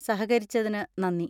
സഹകരിച്ചതിന് നന്ദി.